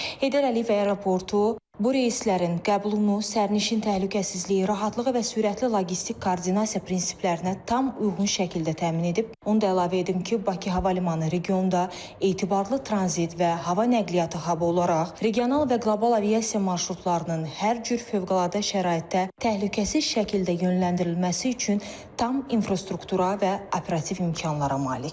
Heydər Əliyev Aeroportu bu reyslərin qəbulunu sərnişin təhlükəsizliyi, rahatlığı və sürətli loqistik koordinasiya prinsiplərinə tam uyğun şəkildə təmin edib, onu da əlavə edim ki, Bakı Hava Limanı regionda etibarlı tranzit və hava nəqliyyatı hab olaraq regional və qlobal aviasiya marşrutlarının hər cür fövqəladə şəraitdə təhlükəsiz şəkildə yönləndirilməsi üçün tam infrastruktura və operativ imkanlara malikdir.